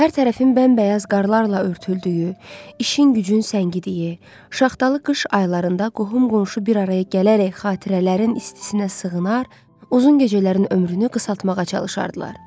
Hər tərəfin bəmbəyaz qarlarla örtüldüyü, işin gücün səngidiyi, şaxtalı qış aylarında qohum-qonşu bir araya gələrək xatirələrin istisinə sığınar, uzun gecələrin ömrünü qısaltmağa çalışardılar.